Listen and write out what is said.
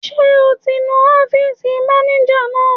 Ṣé o ti nu ọ́fìsì mánéjà náà?